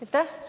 Aitäh!